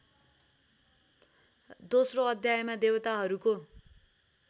दोस्रो अध्यायमा देवताहरूको